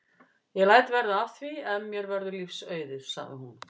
Ég læt verða af því ef mér verður lífs auðið sagði hún.